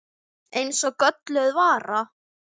Eins og gölluð vara.